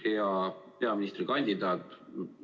Hea peaministrikandidaat!